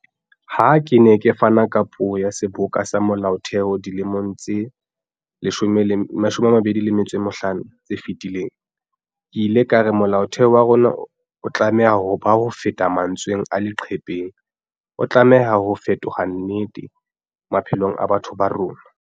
Ha ke ne ke fana ka puo ya Seboka sa Molaotheo dilemong tse 25 tse fetileng, ke ile ka re Molaotheo wa rona o tlameha ho ba hofeta mantsweng a leqhepeng, o tlameha ho fetolwa nnete maphelong a batho ba rona.